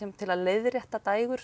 til að leiðrétta